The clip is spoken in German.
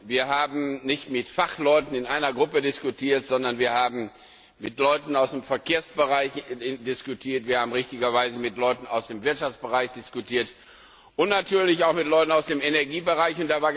Wir haben nicht mit Fachleuten in einer Gruppe diskutiert, sondern wir haben mit Leuten aus dem Verkehrsbereich diskutiert, wir haben richtigerweise mit Leuten aus dem Wirtschaftsbereich diskutiert und natürlich auch mit Leuten aus dem Energiebereich.